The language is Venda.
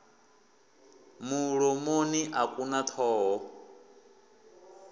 mulomoni a ku na thoho